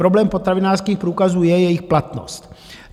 Problém potravinářských průkazů je jejich platnost.